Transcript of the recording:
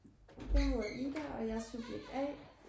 Jeg hedder Ida og jeg subjekt A